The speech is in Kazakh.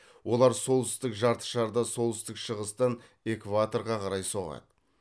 олар солтүстік жартышарда солтүстік шығыстан экваторға қарай соғады